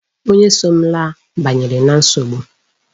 Onye so m laa banyere na nsogbu.